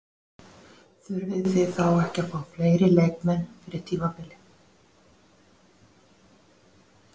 Þurfið þið þá ekki að fá fleiri leikmenn fyrir tímabilið?